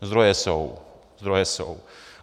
Zdroje jsou, zdroje jsou.